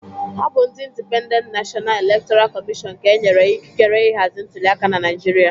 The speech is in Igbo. Ọ bụ ndị Indipendent Nashọna Elektọra Kọmịshọn ka e nyere ịkịkere ịhazi ntuliaka na Naịjirịa